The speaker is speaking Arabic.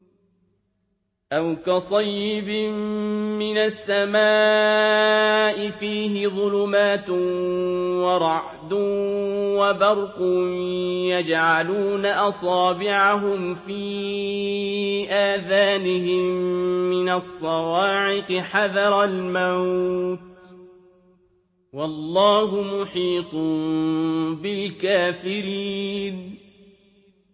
أَوْ كَصَيِّبٍ مِّنَ السَّمَاءِ فِيهِ ظُلُمَاتٌ وَرَعْدٌ وَبَرْقٌ يَجْعَلُونَ أَصَابِعَهُمْ فِي آذَانِهِم مِّنَ الصَّوَاعِقِ حَذَرَ الْمَوْتِ ۚ وَاللَّهُ مُحِيطٌ بِالْكَافِرِينَ